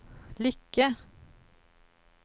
Lycke